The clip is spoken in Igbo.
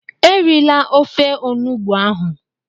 Erila ofe Onugbu ahụ!